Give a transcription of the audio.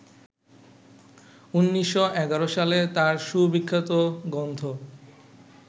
১৯১১ সালে তাঁর সুবিখ্যাত গ্রন্থ